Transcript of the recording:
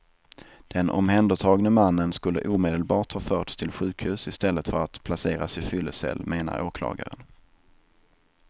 Den omhändertagne mannen skulle omedelbart ha förts till sjukhus i stället för att placeras i fyllecell, menar åklagaren.